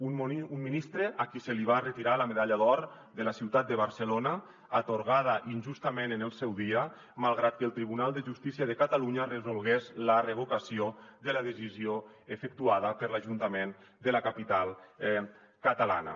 un ministre a qui se li va retirar la medalla d’or de la ciutat de barcelona atorgada injustament en el seu dia malgrat que el tribunal de justícia de catalunya resolgués la revocació de la decisió efectuada per l’ajuntament de la capital catalana